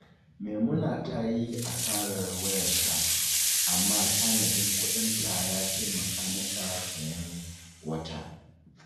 Maimuna ta yi asarar wayarta, amma tanadin kuɗinta ya taimaka mata sayen wata.